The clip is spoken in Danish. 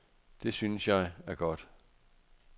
Det, synes jeg, er godt.